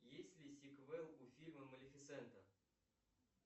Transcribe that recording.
есть ли сиквел у фильма малифисента